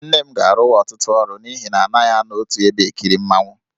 Nne m ga-arụwa ọtụtụ ọrụ n'ihi na anaghị anọ otu ebe e kiri mmanwụ.